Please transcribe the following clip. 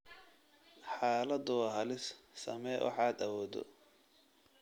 Xaaladdu waa halis, samee waxaad awooddo